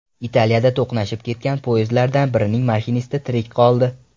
Italiyada to‘qnashib ketgan poyezdlardan birining mashinisti tirik qoldi.